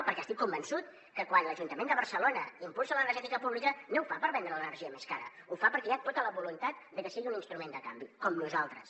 perquè estic convençut que quan l’ajuntament de barcelona impulsa l’energètica pública no ho fa per vendre l’energia més cara ho fa perquè hi ha tota la voluntat de que sigui un instrument de canvi com nosaltres